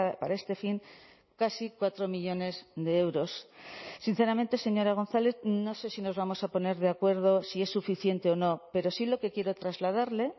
para este fin casi cuatro millónes de euros sinceramente señora gonzález no sé si nos vamos a poner de acuerdo si es suficiente o no pero sí lo que quiero trasladarle